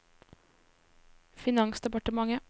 finansdepartementet